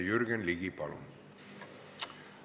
Jürgen Ligi, palun!